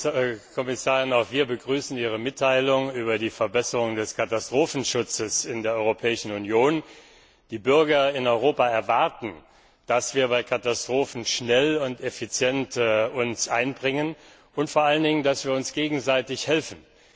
Frau Kommissarin, auch wir begrüßen Ihre Mitteilung über die Verbesserung des Katastrophenschutzes in der Europäischen Union. Die Bürger in Europa erwarten, dass wir uns bei Katastrophen schnell und effizient einbringen und uns vor allen Dingen gegenseitig helfen.